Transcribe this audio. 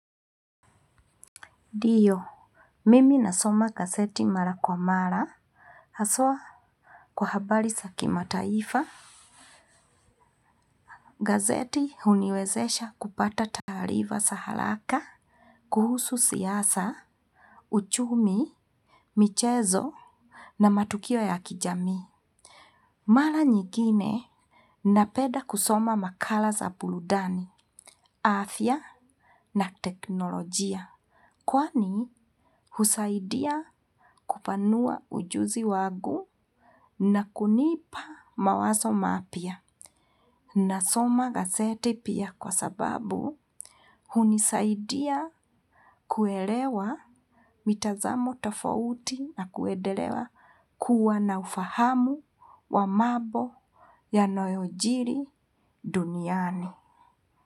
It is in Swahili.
Ndio, mimi nasoma gazeti mara kwa mara, haswa kwa habari za kimataifa, gazeti huniwezesha kupata taarifa za haraka, kuhusu siasa, uchumi, michezo na matukio ya kijami. Mara njingine napenda kusoma makala za burudani, afya na teknolojia. Kwani husaidia kupanua ujuzi wangu na kunipa mawazo mapya. Nasoma gazeti pia kwa sababu, hunisaidia kuelewa mitazamo tofauti na kuendelea, kuwa na ufahamu wa mambo yanayojiri duniani.